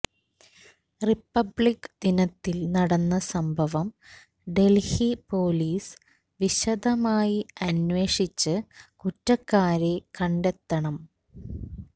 republic ദിനത്തില് നടന്ന സംഭവം ഡല്ഹി പോലിസ് വിശദമായി അന്വേഷിച്ച് കുറ്റക്കാരെ കണ്ടെത്തണം